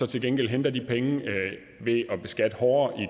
til gengæld hentede de penge ved at beskatte hårdere i